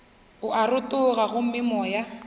o a rotoga gomme moya